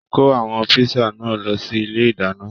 Kò àwọn pìṣà náà lọ sí ilé ìdáná.!